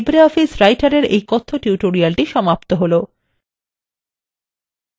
এখানেই libreoffice Writer এর এই কথ্য tutorial সমাপ্ত হলো